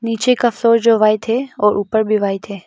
नीचे का फ्लोर जो व्हाइट है और ऊपर भी व्हाइट है।